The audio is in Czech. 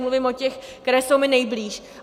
Mluvím o těch, které jsou mi nejblíž.